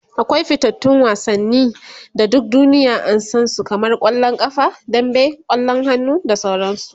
akwai fitattun wasanni da duk duniya an San su kamar kwallon ƙafa dambe, kwallon hannu da sauransu